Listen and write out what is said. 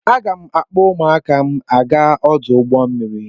Aga m akpọ ụmụaka m aga ọdụ ụgbọ mmiri.